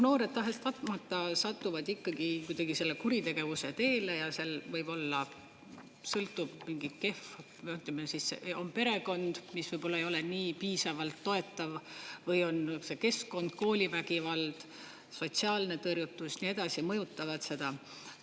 Noored tahes-tahtmata satuvad ikkagi kuidagi kuritegevuse teele ja see võib-olla sõltub, mingi kehv, või ütleme siis, on perekond, mis võib-olla ei ole nii piisavalt toetav, või on see keskkond, koolivägivald, sotsiaalne tõrjutus ja nii edasi, need mõjutavad seda.